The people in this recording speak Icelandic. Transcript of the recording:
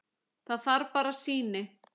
Það þarf bara sýni.